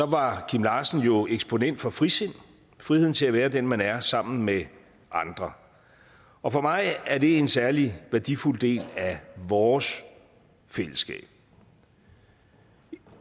var kim larsen jo eksponent for frisind friheden til at være den man er sammen med andre og for mig er det en særlig værdifuld del af vores fællesskab